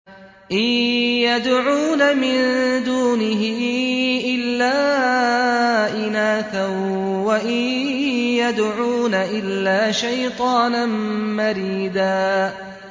إِن يَدْعُونَ مِن دُونِهِ إِلَّا إِنَاثًا وَإِن يَدْعُونَ إِلَّا شَيْطَانًا مَّرِيدًا